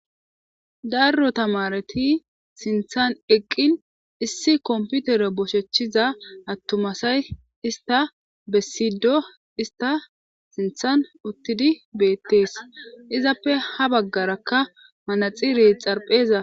darro tamareti sinthan eqqin issi komputere boshechchiza attumasay ista bessido ista sinthan uttidi beettees izappe ha baggarakka manaxire xarpheza